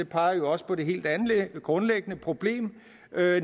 peger jo også på det helt grundlæggende problem